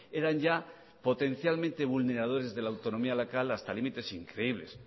eran ya potencialmente vulneradores de la autonomía local hasta límites increíbles